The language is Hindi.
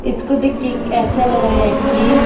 इसको देख के एक ऐसा लग रहा है कि--